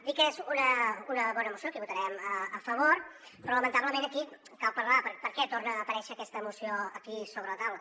dir que és una bona moció que hi votarem a favor però lamentablement aquí cal parlar de per què torna a aparèixer aquesta moció aquí sobre la taula